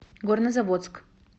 горнозаводск